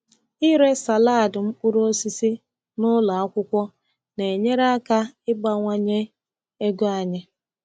Ire salad mkpụrụ osisi n’ụlọ akwụkwọ na-enyere aka ịbawanye ego anyị.